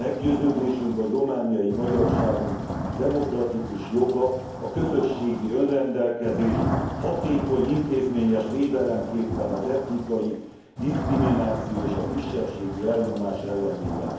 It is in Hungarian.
Meggyőződésünk, hogy romániai magyarságunk demokratikus joga a közösségi önrendelkezés hatékony intézményes védelemképpen az etnikai diszkrimináció és a kisebbségi elnyomás ellenében.